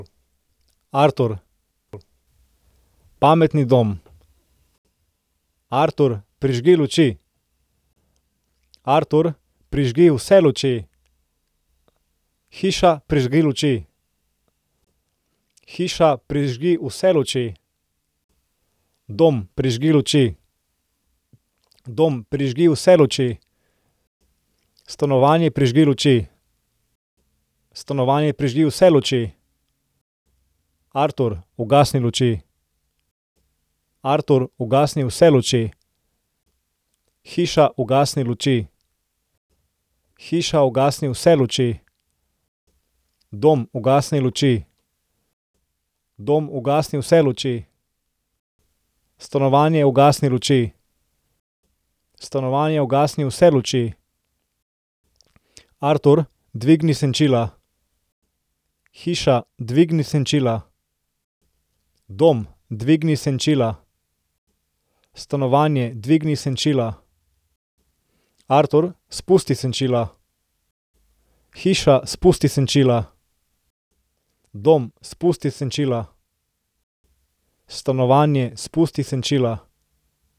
Artur. Pametni dom. Artur, prižgi luči. Artur, prižgi vse luči. Hiša, prižgi luči. Hiša, prižgi vse luči. Dom, prižgi luči. Dom, prižgi vse luči. Stanovanje, prižgi luči. Stanovanje, prižgi vse luči. Artur, ugasni luči. Artur, ugasni vse luči. Hiša, ugasni luči. Hiša, ugasni vse luči. Dom, ugasni luči. Dom, ugasni vse luči. Stanovanje, ugasni luči. Stanovanje, ugasni vse luči. Artur, dvigni senčila. Hiša, dvigni senčila. Dom, dvigni senčila. Stanovanje, dvigni senčila. Artur, spusti senčila. Hiša, spusti senčila. Dom, spusti senčila. Stanovanje, spusti senčila.